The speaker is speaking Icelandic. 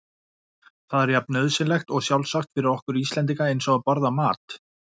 Það er jafn nauðsynlegt og sjálfsagt fyrir okkur Íslendinga eins og að borða mat.